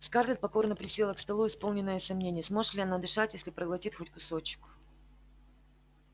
скарлетт покорно присела к столу исполненная сомнений сможет ли она дышать если проглотит хоть кусочек